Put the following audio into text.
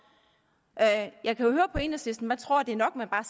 jeg kan jo høre på enhedslisten at man tror at det er nok at man bare